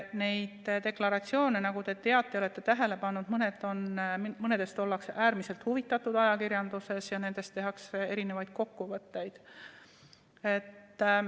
Mõnest deklaratsioonist, nagu te teate ja olete tähele pannud, ollakse ajakirjanduses äärmiselt huvitatud ja neist tehakse mitmesuguseid kokkuvõtteid.